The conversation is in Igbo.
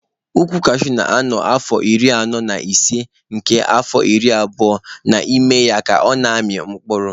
Ukwu kashuu na-anọ afọ iri anọ na ise nke afọ iri abụo n'ime ya ka ọ na-amị mkpụrụ.